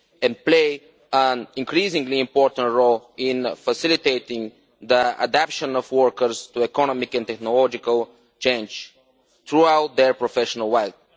and play an increasingly important role in facilitating the adaption of workers to economic and technological change throughout their professional lives.